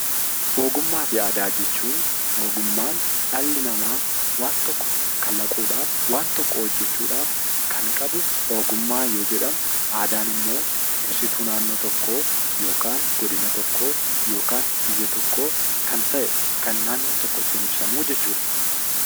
Ogummaa fi aadaa jechuun ogummaan dhalli namaa waan tokko kalaquudhaaf waan tokko hojjechuudhaaf kan qabu ogummaa yoo jedhamu, aadaan immoo ibsituu naannoo tokkoo yookaan godina tokkoo yookaan biyya tokkoo kan ta'e, kan naannoon tokko ittiin ibsamu jechuudha.